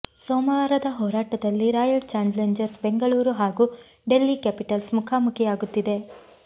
ಸೋಮವಾರದ ಹೋರಾಟದಲ್ಲಿ royal challengers Bengaluru ಹಾಗೂ ಡೆಲ್ಲಿ ಕ್ಯಾಪಿಟಲ್ಸ್ ಮುಖಾಮುಖಿಯಾಗುತ್ತಿದೆ